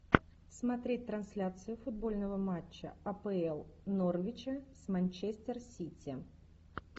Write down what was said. смотреть трансляцию футбольного матча апл норвича с манчестер сити